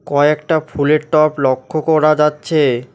কয়েকটা ফুলের টব লক্ষ করা যাচ্ছে।